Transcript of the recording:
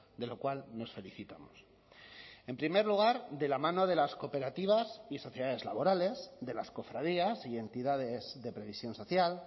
de lo cual nos felicitamos en primer lugar de la mano de las cooperativas y sociedades laborales de las cofradías y entidades de previsión social